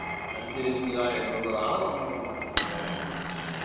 speaker 1 സഞ്ചരിക്കുക എന്നുള്ളതാണ് നമ്മടെ മനസ്സിൽ വേണ്ട ചിന്ത